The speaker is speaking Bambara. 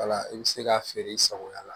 Wala i bɛ se ka feere i sagoya la